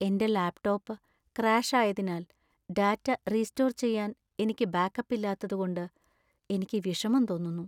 എന്‍റെ ലാപ്‌ടോപ്പ് ക്രാഷായതിനാൽ, data restore ചെയ്യാൻ എനിക്ക് ബാക്കപ്പ് ഇല്ലാത്തതുകൊണ്ട് എനിക്ക് വിഷമം തോന്നുന്നു.